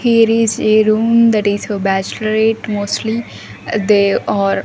here is a room that is for bachelorate mostly they are --